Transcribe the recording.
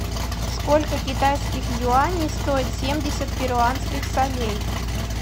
сколько китайских юаней стоит семьдесят перуанских солей